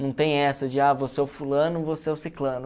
Não tem essa de ah, você é o fulano, você é o ciclano.